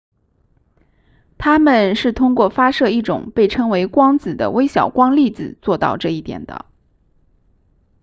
它们是通过发射一种被称为光子的微小光粒子做到这一点的